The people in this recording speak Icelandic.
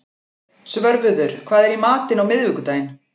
Svörfuður, hvað er í matinn á miðvikudaginn?